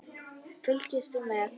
Fylgstu með!